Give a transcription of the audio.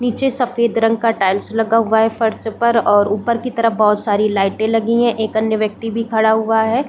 नीचे सफ़ेद रंग का टाइल्स लगा हुआ है फर्श पर और ऊपर की तरफ बहुत सारी लाइटे लगी है एक अन्य व्यक्ति भी खड़ा हुआ हैं ।